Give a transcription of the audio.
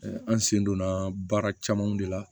an sen donna baara camanw de la